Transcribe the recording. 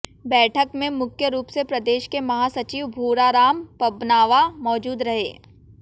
बैठक में मुख्य रूप से प्रदेश के महासचिव भूराराम पबनावा मौजूद रहे